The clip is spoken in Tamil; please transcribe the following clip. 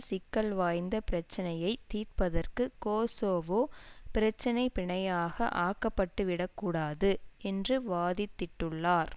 சிக்கல் வாய்ந்த பிரச்சினையை தீர்ப்பதற்கு கோசோவோ பிரச்சினை பிணையாக ஆக்கப்பட்டுவிடக்கூடாது என்று வாதிட்டுள்ளார்